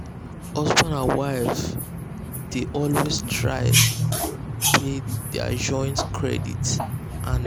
husband and wife dey dey always try pay their joint credit card bill same day every month.